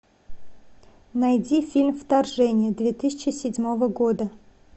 найди фильм вторжение две тысячи седьмого года